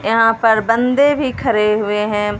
यहां पर बंदे भी खड़े हुए हैं।